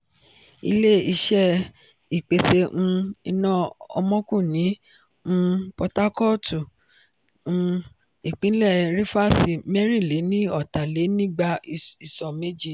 ilé-iṣé ìpèsè um iná omoku ní um potakootu um ìpínlè rifasi mẹrin-le-ni-ota-le-nigba iso mẹje.